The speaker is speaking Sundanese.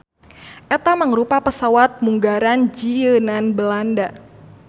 Eta mangrupa pesawat munggaran jieunan Belanda.